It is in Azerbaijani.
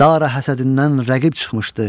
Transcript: daha həsədindən rəqib çıxmışdı.